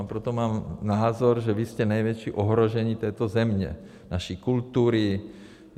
A proto mám názor, že vy jste největší ohrožení této země, naší kultury.